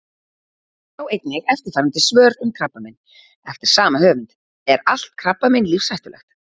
Sjá einnig eftirfarandi svör um krabbamein: Eftir sama höfund Er allt krabbamein lífshættulegt?